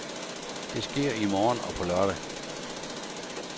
Det sker i morgen og på lørdag.